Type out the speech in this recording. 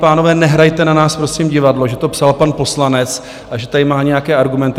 Pánové, nehrajte na nás prosím divadlo, že to psal pan poslanec a že tady má nějaké argumenty.